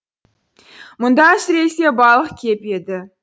мұнда әсіресе балық кеп еді